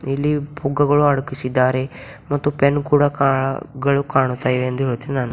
ಇಲ್ಲಿ ಪುಗ್ಗಗಳು ಅಡಗಿಸಿದ್ದಾರೆ ಮತ್ತು ಪೆನ್ ಕೂಡ ಕಾ ಗಳು ಕಾಣ್ತಯಿವೆ ಎಂದು ಯೋಚನೆ ನಾನು --